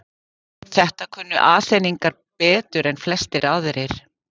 Þetta kunnu Aþeningar betur en flestir aðrir.